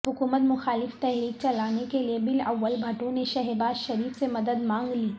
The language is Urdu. حکومت مخالف تحریک چلانے کیلئے بلاول بھٹو نے شہباز شریف سے مدد مانگ لی